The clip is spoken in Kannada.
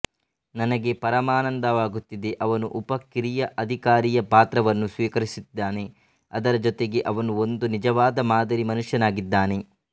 ನನಗೆ ಪರಮಾನಂದವಾಗುತ್ತಿದೆ ಅವನು ಉಪ ಕಿರಿಯ ಅಧಿಕಾರಿಯ ಪಾತ್ರವನ್ನು ಸ್ವೀಕರಿಸಿದ್ದಾನೆ ಅದರ ಜೊತೆಗೆ ಅವನು ಒಂದು ನಿಜವಾದ ಮಾದರಿ ಮನುಷ್ಯನಾಗಿದ್ದಾನೆ